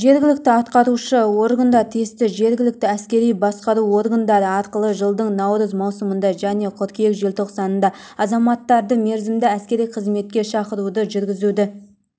жергілікті атқарушы органдар тиісті жергілікті әскери басқару органдары арқылы жылдың наурыз маусымында және қыркүйек желтоқсанында азаматтарды мерзімді әскери қызметке шақыруды жүргізуді